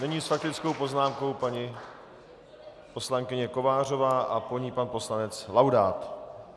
Nyní s faktickou poznámkou paní poslankyně Kovářová a po ní pan poslanec Laudát.